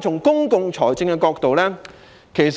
從公共財政的角度，自